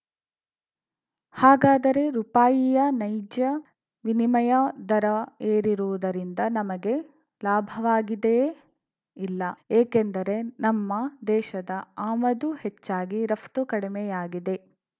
ಹಾಗಾದರೆ ರುಪಾಯಿಯ ನೈಜ ವಿನಿಮಯ ದರ ಏರಿರುವುದರಿಂದ ನಮಗೆ ಲಾಭವಾಗಿದೆಯೇ ಇಲ್ಲ ಏಕೆಂದರೆ ನಮ್ಮ ದೇಶದ ಆಮದು ಹೆಚ್ಚಾಗಿ ರಫ್ತು ಕಡಿಮೆಯಾಗಿದೆ